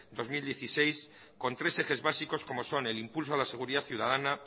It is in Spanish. dos mil dieciséis con tres ejes básicos como son el impulso a la seguridad ciudadana